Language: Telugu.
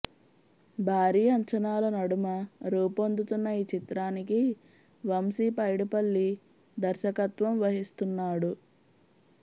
భారీ అంచనాల నడుమ రూపొందుతున్న ఈ చిత్రానికి వంశీ పైడిపల్లి దర్శకత్వం వహిస్తున్నాడు